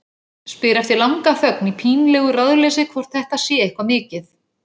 Spyr eftir langa þögn í pínlegu ráðleysi hvort þetta sé eitthvað mikið.